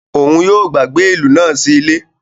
Òún yóò gbàgbé ilú náà sí ile